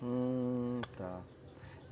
Hum, tá.